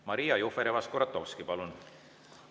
Maria Jufereva-Skuratovski, palun!